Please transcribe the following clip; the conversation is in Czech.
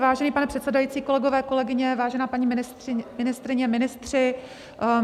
Vážený pane předsedající, kolegové, kolegyně, vážená paní ministryně, ministři.